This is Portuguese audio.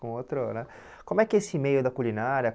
Com outro né como é que é esse meio da culinária?